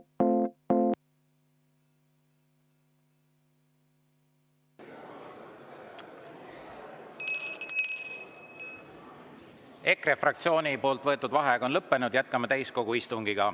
EKRE fraktsiooni võetud vaheaeg on lõppenud, jätkame täiskogu istungit.